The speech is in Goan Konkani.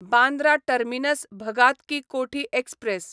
Bandra terminus Bhagat Ki Kothi express